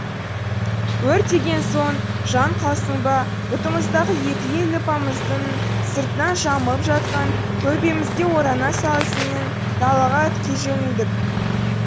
өрт деген соң жан қалсын ба бұтымыздағы екі елі лыпамыздың сыртынан жамылып жатқан көрпемізге орана салысымен далаға ытқи жөнелдік